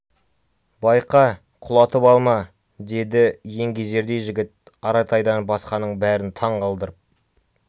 байқа құлатып алма деді еңгезердей жігіт аратайдан басқаның бәрін таңқалдырып